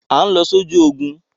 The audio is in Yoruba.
À ń lọ sójú ogun!